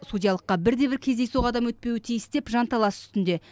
судьялыққа бірде бір кездейсоқ адам өтпеуі тиіс деп жанталас үстінде